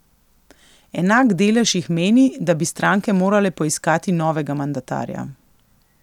Enak delež jih meni, da bi stranke morale poiskati novega mandatarja.